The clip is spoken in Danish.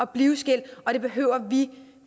blive skilt og det behøver vi